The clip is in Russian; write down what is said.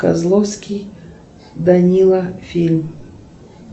козловский данила фильм